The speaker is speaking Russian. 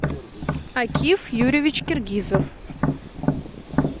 акив юрьевич киргизов